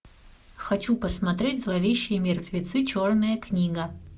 хочу посмотреть зловещие мертвецы черная книга